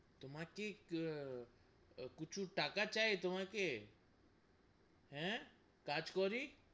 তোমাকে কিছু টাকা চাই, তোমাকে হে কাজ করুক,